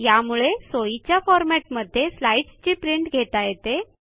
यामुळे सोयीच्या फॉरमॅटमध्ये स्लाईडची प्रिंट घेता येते